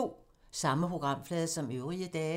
Samme programflade som øvrige dage